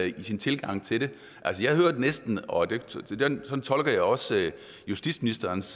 i sin tilgang til det jeg hørte næsten og sådan tolker jeg også justitsministerens